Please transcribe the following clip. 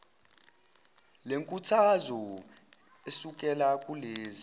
lenkuthazo esukela kulezo